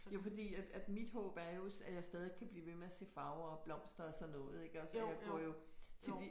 Jo fordi at mit håb er jo at jeg stadig kan blive ved med at se farver og blomster og sådan noget ik og så jeg går jo til de